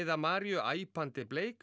Maríu æpandi bleik